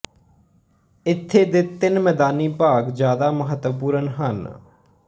ਇੱਥੇ ਦੇ ਤਿੰਨ ਮੈਦਾਨੀ ਭਾਗ ਜਿਆਦਾ ਮਹੱਤਵਪੂਰਣ ਹਨ